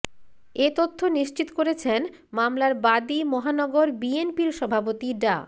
এ তথ্য নিশ্চিত করেছেন মামলার বাদী মহানগর বিএনপির সভাপতি ডা